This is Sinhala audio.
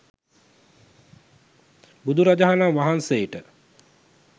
බුදුරජාණන් වහන්සේට